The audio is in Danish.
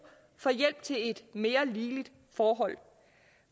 for hjælp til et mere ligeligt forhold